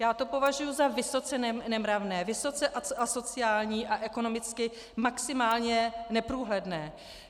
Já to považuji za vysoce nemravné, vysoce asociální a ekonomicky maximálně neprůhledné.